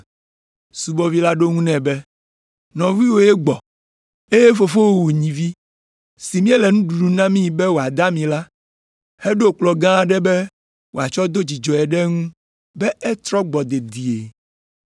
Subɔvi la ɖo eŋu nɛ be, ‘Nɔviwòe gbɔ, eye fofowò wu nyivi si míele nuɖuɖu namii be wòada ami la, heɖo kplɔ̃ gã aɖe be woatsɔ do dzidzɔe ɖe eŋu be etrɔ gbɔ dedie.’